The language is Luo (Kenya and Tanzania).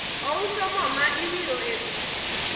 ouso mo ma iwiro e wich